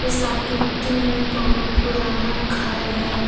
इस आकृति में बहुत पुराना घर है।